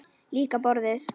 Líka borðið.